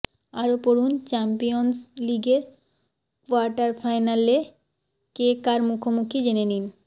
আরও পড়ুন চ্যাম্পিয়ন্স লিগের কোয়ার্টার ফাইনালে কে কার মুখোমুখি জেনে নিন